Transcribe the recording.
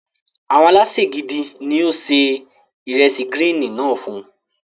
Àwọn alésè gidi ní ó se ìresì gírín-ìn náà fún.